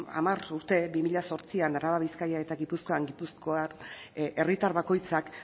hamar urte bi mila zortzian araban bizkaian eta gipuzkoan gipuzkoar herritar bakoitzak